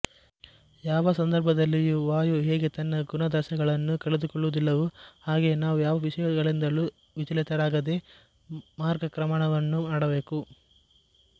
ಯಾವ ಸಂದರ್ಭದಲ್ಲಿಯು ವಾಯು ಹೇಗೆ ತನ್ನ ಗುಣಾದರ್ಶಗಳನ್ನು ಕಳೆದುಕೊಳ್ಳುವುದಿಲ್ಲವೋ ಹಾಗೆ ನಾವು ಯಾವ ವಿಷಯಗಳಿಂದಲೂ ವಿಚಲಿತರಾಗದೆ ಮಾರ್ಗಕ್ರಮಣವನ್ನು ಮಾಡಬೇಕು